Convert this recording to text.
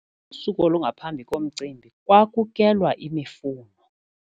Kusuku olungaphambi komcimbi kwakukelwa imifuno.